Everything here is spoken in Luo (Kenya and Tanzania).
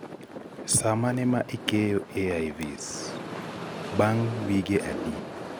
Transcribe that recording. sa mane ma ikeyoAIVs ( bang' wige adi)